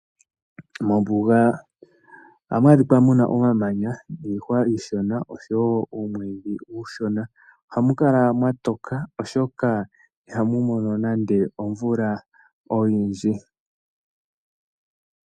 Mombuga ohamu adhika mu na omamanya niihwa iishona osho wo uumwiidhi uushona. Ohamu kala mwa toka, oshoka ihamu mono nando omvula oyindji.